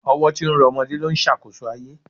Ọwọ́ tí ń rọ ọmọdé ló ń ṣàkóso ayé